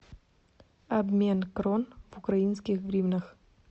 обмен крон в украинских гривнах